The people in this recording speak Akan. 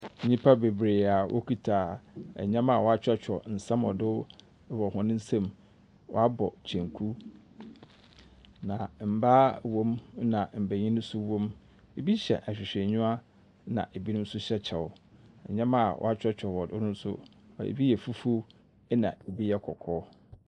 Nyimpa beberee a wɔkita ndzɛmba a wɔakyerɛwkyerɛw nsɛm wɔ do wɔ hɔn nsamu. Wɔabɔ kyenku, na mbaa wɔ mu, na mbenyin nso wɔ mu. Bi hyɛ ahwehwɛnyiwa, na binom nso hyɛ kyɛw. Ndzɛmba a wɔakyerɛwkyerɛ wɔ do no nso, bi yɛ fufuw, na bi yɛ kɔkɔɔ.